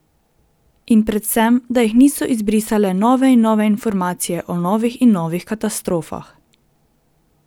In predvsem, da jih niso izbrisale nove in nove informacije o novih in novih katastrofah.